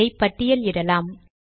இதை பட்டியல் இடலாம்